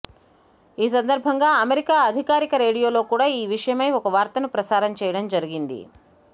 ఈ సందర్బంగా అమెరికా అధికారిక రేడియోలో కూడా ఈ విషయమై ఒక వార్తను ప్రసారం చేయడం జరిగింది